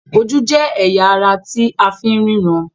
Ojú jé ẹya àrà tí àfín ríran